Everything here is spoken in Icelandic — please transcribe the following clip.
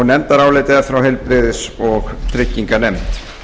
nefndarálitið er frá heilbrigðis og trygginganefnd